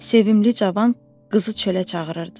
Sevimli cavan qızı çölə çağırırdı.